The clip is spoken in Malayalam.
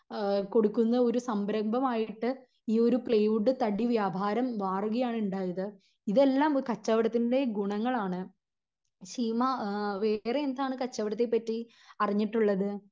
ആഹ് കൊടുക്കുന്ന ഒരു സംരംഭം ആയിട്ട് ഈ ഒരു പ്ലൈവുഡ്ഡ് തടി വ്യാപാരം മാറുകയാണ് ഉണ്ടായത് ഇതെല്ലം കച്ചവടത്തിൻ്റെ ഗുണങ്ങളാണ് ശീമ വേറെ എന്താണ് കച്ചവടത്തെ പറ്റി അറിഞ്ഞിട്ടുള്ളത്